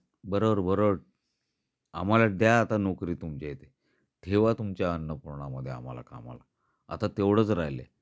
बरोबर, बरोबर. आह्माला एक द्या आता नोकरी तुमच्या इथे. ठेवा तुमच्या अन्नपूर्णा मध्ये आम्हाला कामाला आता तेवढेच राहिल आहे.